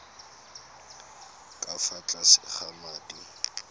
ka fa tlase ga madi